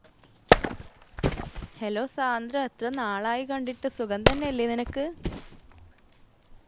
hello Sandra എത്രനാളായി കണ്ടിട്ട് സുഖം തന്നെയല്ലേ നിനക്ക്